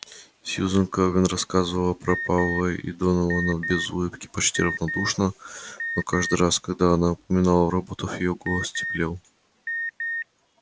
сьюзен кэлвин рассказывала про пауэлла и донована без улыбки почти равнодушно но каждый раз когда она упоминала роботов её голос теплел